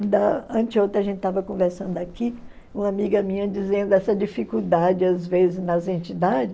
Antes de ontem, a gente estava conversando aqui, uma amiga minha dizendo essa dificuldade, às vezes, nas entidades.